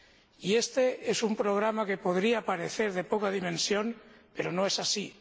Y éste es un programa que podría parecer de poca dimensión, pero no es así.